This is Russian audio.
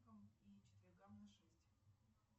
и четвергам на шесть